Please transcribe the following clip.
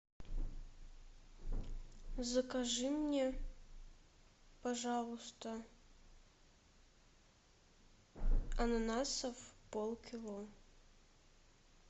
закажи мне пожалуйста ананасов полкило